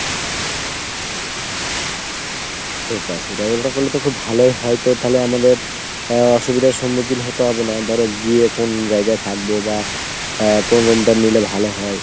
সেটা সেটা। ওটা করলে তো খুব ভালোই হয় তালে আমাদের আহ অসুবিধার সম্মুখীন হতে হবে না ধরো গিয়ে কোন জায়গায় থাকবো বা আহ কোন room টা নিলে ভালো হয় ?